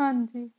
ਆ